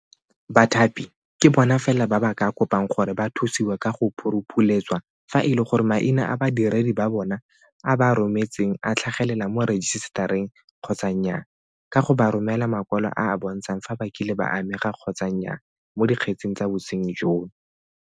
Bathapi ke bona fela ba ba ka kopang gore ba thusiwe ka go phuruphuletswa fa e le gore maina a badiredi ba bona a ba a rometseng a tlhagelela mo rejisetareng kgotsa nnyaa ka go ba romela makwalo a a bontshang fa ba kile ba amega kgotsa nnyaa mo dikgetseng tsa bosenyi jono.